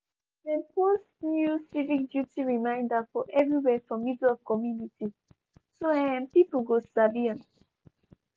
dem post nnw civic duty reminder for everywhere for middle of community so um pipu go sabi am.